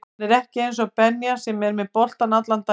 Hann er ekki eins og Benja sem er með boltann allan daginn